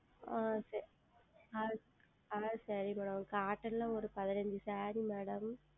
ஆஹ் சரி ஆஹ் சரி Madam Cotton ல ஓர் பதினைந்து SareeMadam